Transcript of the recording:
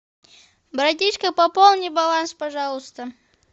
братишка пополни баланс пожалуйста